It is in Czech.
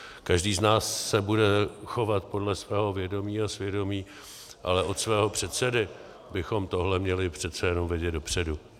Každý z nás se bude chovat podle svého vědomí a svědomí, ale od svého předsedy bychom tohle měli přece jenom vědět dopředu.